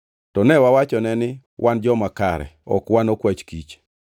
To ne wawachone ni, ‘Wan joma kare; ok wan okwach kich.